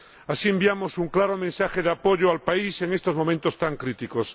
Así enviamos un claro mensaje de apoyo al país en estos momentos tan críticos.